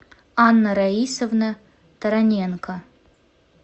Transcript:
анна раисовна тараненко